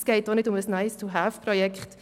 es geht auch nicht um ein Nice-tohave-Projekt.